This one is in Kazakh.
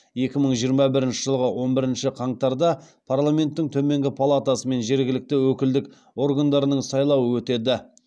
екі мың жиырма бірінші жылғы он бірінші қаңтарда парламенттің төменгі палатасы мен жергілікті өкілдік органдарының сайлауы өтеді